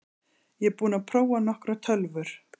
Ég er búinn að prófa nokkrar tölvur.